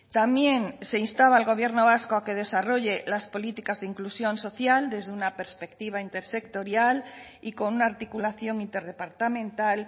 también se instaba al gobierno vasco a que desarrolle las políticas de inclusión social desde una perspectiva intersectorial y con una articulación interdepartamental